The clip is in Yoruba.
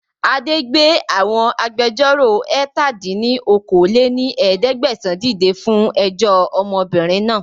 Adé gbé àwọn agbẹjọ́ró ẹ̀ta dín ní okòó-lé-ní-ẹ̀ẹ́dẹ́gbẹ́sán dìde fún ẹjọ́ ọmọbìnrin náà